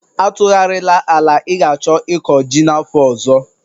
Atụgharịla ala ị ga-achọ ịkọ ji n'afọ ọzọ!